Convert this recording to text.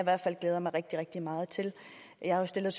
glæder mig rigtig rigtig meget til jeg har stillet